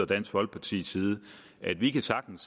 dansk folkepartis side at vi sagtens